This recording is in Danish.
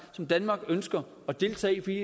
som danmark ønsker at deltage i fordi